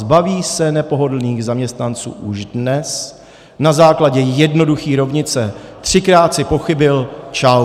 Zbaví se nepohodlných zaměstnanců už dnes na základě jednoduché rovnice - třikrát jsi pochybil, čau.